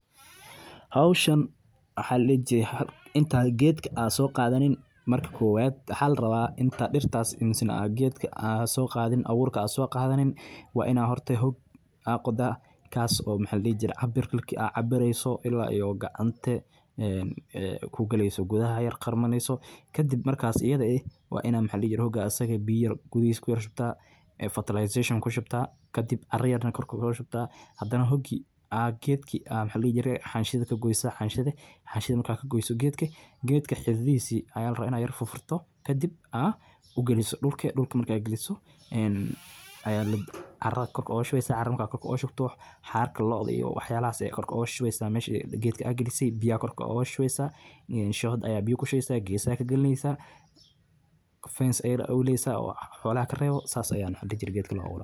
Madaxweynaha Jamhuuriyadda Federaalka Kenya, William Ruto, ayaa maanta si rasmi ah u qabtay munaasabadda beerta geed cusub oo lagu xusayo dadaallada dowladdiisa ee ku aaddan ilaalinta deegaanka iyo ka hortagga isbedelka cimilada. Madaxweynaha ayaa geedka ku beeray goob ku taalla xarunta madaxtooyada Nairobi, isagoo ku baaqay in shacabka Kenya ay si wadajir ah uga qayb qaataan dadaallada lagu horumarinayo deegaanka. Ruto ayaa sheegay in beerta geedka ay tahay tallaabo muhiim ah.